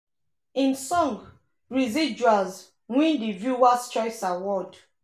im song "residuals" win di viewer's choice award.